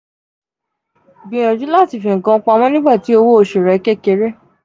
“gbiyanju lati fi nkan pamọ nigbati owo osu re kekere.